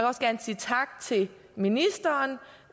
også gerne sige tak til ministeren